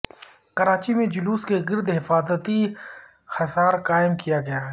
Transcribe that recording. کراچی میں جلوس کے گرد حفاظتی حصار قائم کیا گیا ہے